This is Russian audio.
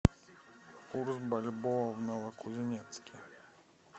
курс бальбоа в новокузнецке